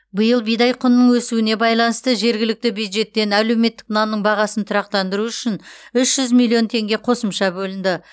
биыл бидай құнының өсуіне байланысты жергілікті бюджеттен әлеуметтік нанның бағасын тұрақтандыру үшін үш жүз миллион теңге қосымша бөлінді